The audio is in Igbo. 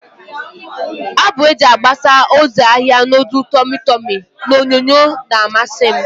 Abụ eji agbasa ozi ahia nudul tọmị tọmị n'onyonyo na-amasi m.